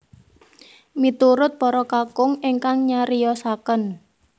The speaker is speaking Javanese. Miturut para kakung engkang nyariosaken